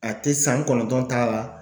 A te san kɔnɔntɔn ta la.